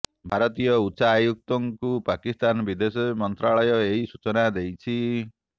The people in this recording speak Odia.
ଭାରତୀୟ ଉଚ୍ଚାୟୁକ୍ତଙ୍କୁ ପାକିସ୍ତାନ ବିଦେଶ ମନ୍ତ୍ରଣାଳୟ ଏହି ସୂଚନା ଦେଇଛି